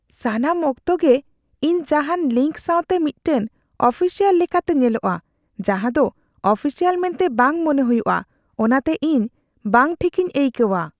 ᱥᱟᱱᱟᱢ ᱚᱠᱛᱮ ᱜᱮ ᱤᱧ ᱡᱟᱦᱟᱱ ᱞᱤᱝᱠ ᱥᱟᱶᱛᱮ ᱢᱤᱫᱴᱟᱝ ᱚᱯᱷᱤᱥᱤᱭᱟᱞ ᱞᱮᱠᱟᱛᱮ ᱧᱮᱞᱚᱜᱼᱟ, ᱡᱟᱦᱟᱸ ᱫᱚ ᱚᱯᱷᱤᱥᱤᱭᱟᱞ ᱢᱮᱱᱛᱮ ᱵᱟᱝ ᱢᱚᱱᱮ ᱦᱩᱭᱩᱜ ᱟ, ᱚᱱᱟᱛᱮ ᱤᱧ ᱵᱟᱝ ᱴᱷᱤᱠᱤᱧ ᱟᱹᱭᱠᱟᱹᱣᱟ ᱾